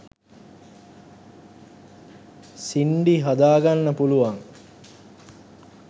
සින්ඩි හදාගන්න පුළුවන්